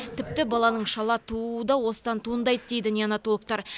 тіпті баланың шала тууы да осыдан туындайды дейді неанотологтар